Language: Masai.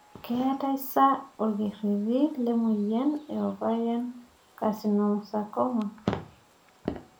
keetae sa orkereti le moyian ovarian carcinosarcoma?